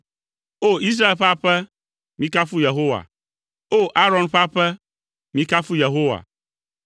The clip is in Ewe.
O! Israel ƒe aƒe, mikafu Yehowa, O! Aron ƒe aƒe, mikafu Yehowa,